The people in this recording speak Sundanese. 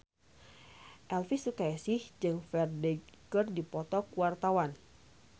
Elvy Sukaesih jeung Ferdge keur dipoto ku wartawan